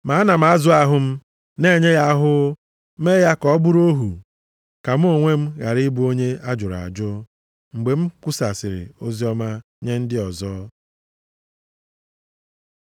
Ma ana m azụ ahụ m, na-enye ya ahụhụ mee ya ka ọ bụrụ ohu, ka mụ onwe m ghara ị bụ onye a jụrụ ajụ mgbe m kwusasịrị oziọma nye ndị ọzọ.